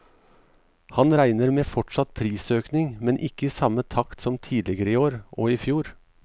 Han regner med fortsatt prisøkning, men ikke i samme takt som tidligere i år og i fjor.